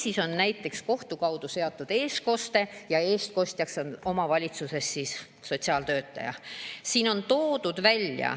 " Või on näiteks kohtu kaudu seatud eestkoste ja eestkostjaks on omavalitsuse sotsiaaltöötaja.